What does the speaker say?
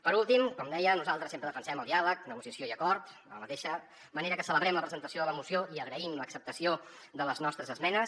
per últim com deia nosaltres sempre defensem el diàleg negociació i acord de la mateixa manera que celebrem la presentació de la moció i agraïm l’acceptació de les nostres esmenes